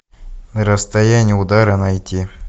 расстояние удара найти